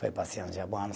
Para eu ir passear no Japão